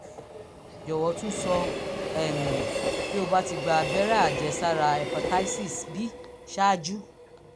jọ̀wọ́ tún sọ um bí o bá ti gba abẹ́rẹ́ àjẹsára hepatitis b ṣáájú